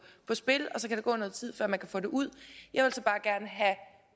spil og så kan der gå noget tid før man kan få det ud jeg vil så bare gerne have